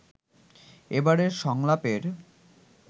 এবারের সংলাপের